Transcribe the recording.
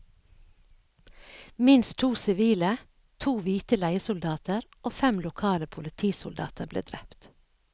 Minst to sivile, to hvite leiesoldater og fem lokale politisoldater ble drept.